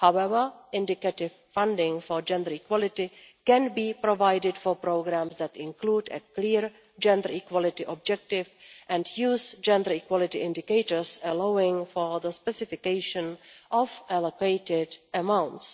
However, indicative funding for gender equality can be provided for programmes that include a clear gender equality objective and use gender equality indicators, allowing for the specification of allocated amounts.